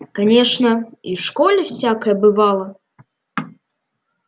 конечно и в школе всякое бывало